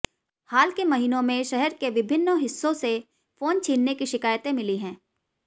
हाल के महीनों में शहर के विभिन्न हिस्सों से फोन छीनने की शिकायतें मिली हैं